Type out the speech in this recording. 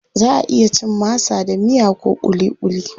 Zaʼa iya cin masa da miya ko kulikuli.